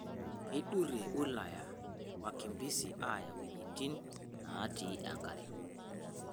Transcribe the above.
Keidurrie wilaya wakimbisi aaya wuejitin naati enkare